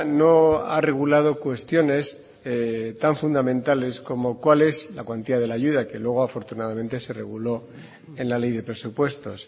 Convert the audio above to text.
no ha regulado cuestiones tan fundamentales como cuál es la cuantía de la ayuda que luego afortunadamente se reguló en la ley de presupuestos